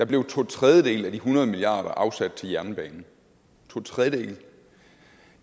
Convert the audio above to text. blev to tredjedele af de hundrede milliard kroner afsat til jernbane to tredjedele